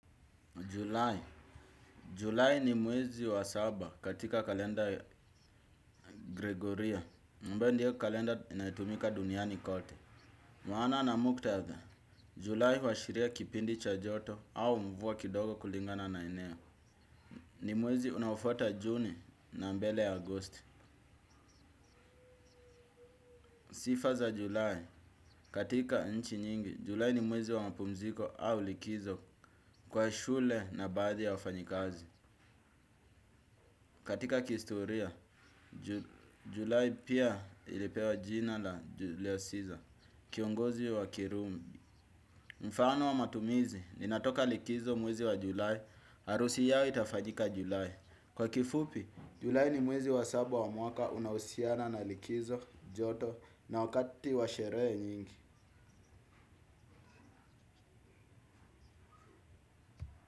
Julai. Julai ni mwezi wa saba katika kalenda Gregoria. Ambayo ndio kalenda inayotumika duniani kote. Mwana na muktadha. Julai huashiria kipindi cha joto au mvua kidogo kulingana na eneo. Ni mwezi unaofuata juni na mbele agosti. Sifa za julai. Katika nchi nyingi. Julai ni mwezi wa mapumziko au likizo kwa shule na baadhi ya wafanyikazi. Katika kihistoria, Julai pia ilipewa jina la Julio Siza, kiongozi wa kirumi. Mfano wa matumizi, ninatoka likizo mwezi wa julai, harusi yao itafanyika Julai. Kwa kifupi, Julai ni mwezi wa saba wa mwaka unahusiana na likizo, joto, na wakati wa sherehe nyingi.